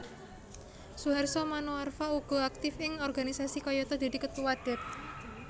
Suharso Manoarfa uga aktif ing organisasi kayata dadi Ketua Dep